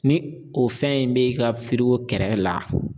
Ni o fɛn in bɛ ka kɛrɛ la